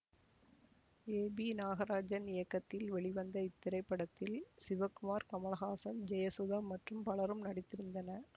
ஏ B Nagarajan இயக்கத்தில் வெளிவந்த இத்திரைப்படத்தில் சிவகுமார் கமல்ஹாசன் ஜெயசுதா மற்றும் பலரும் நடித்திருந்தனர்